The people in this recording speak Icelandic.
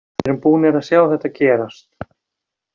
Við erum búnir að sjá þetta gerast.